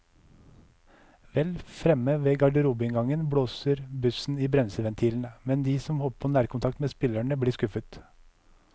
Vel fremme ved garderobeinngangen blåser bussen i bremseventilene, men de som håper på nærkontakt med spillerne, blir skuffet.